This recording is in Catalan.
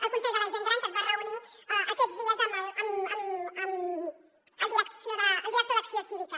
el consell de la gent gran que es va reunir aquests dies amb el director d’acció cívica